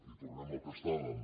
i tornem al que estàvem